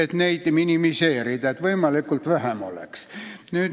Taheti, et neid oleks võimalikult vähe.